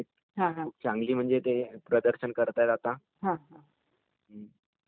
आणकी काही प्रश्न आहेत का तुमच्या मनात....